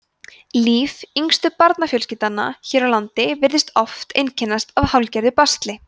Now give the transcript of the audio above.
líf yngstu barnafjölskyldnanna hér á landi virtist oft einkennast af hálfgerðu basli